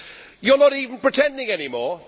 You are not even pretending any more.